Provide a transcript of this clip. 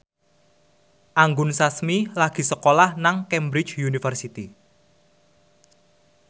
Anggun Sasmi lagi sekolah nang Cambridge University